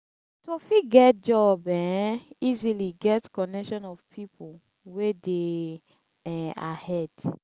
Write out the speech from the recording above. to fit get job um easily get connection of pipo wey de um ahead